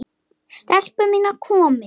STELPUR MÍNAR, KOMIÐI!